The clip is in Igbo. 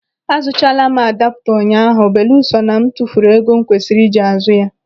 Azụchaala m adaaputa ụnyaahụ belusọ na m tufuru ego m kwesiri iji azụ ya.